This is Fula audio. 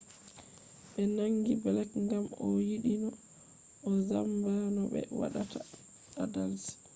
ɓe nangi blek ngam o yiɗino o zamba no ɓe watta adalci